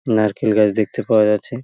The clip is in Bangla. নারকেল গাছ দেখতে পাওয়া যাচ্ছে।